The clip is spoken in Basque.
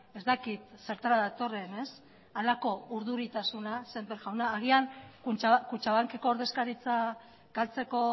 ez dakit zertara datorren halako urduritasuna semper jauna agian kutxabankeko ordezkaritza galtzeko